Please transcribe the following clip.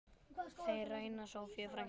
Þeir ræna Soffíu frænku.